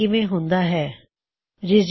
ਹੁਣ ਇੱਕ ਉਦਾਹਰਣ ਲੈ ਕੇ ਦੇਖਿਏ ਇਹ ਕੀਵੇਂ ਹੁੰਦਾ ਹੈ